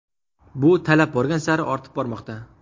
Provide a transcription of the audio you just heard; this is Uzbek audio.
Bu talab borgan sari ortib bormoqda.